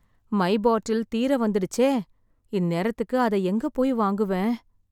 My bottle தீர வந்துடுச்சே! இந்நேரத்துக்கு அத எங்க போய் வாங்குவேன்?